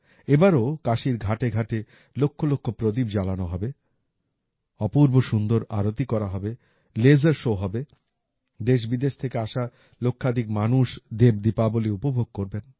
এবারও কাশীর ঘাটেঘাটে লক্ষলক্ষ প্রদীপ জ্বালানো হবে অপূর্বসুন্দর আরতি করা হবে লাসের শো হবে দেশবিদেশ থেকে আসা লক্ষাধিক মানুষ দেব দীপাবলি উপভোগ করবেন